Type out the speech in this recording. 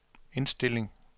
indstilling